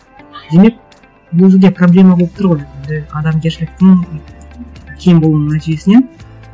демек бұл жерде проблема болып тұр ғой енді адамгершіліктің кем болуының нәтижесі иә